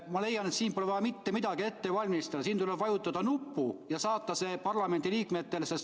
Ma leian, et siin pole vaja mitte midagi ette valmistada, siin tuleb vajutada nuppu ja saata vastus parlamendiliikmetele.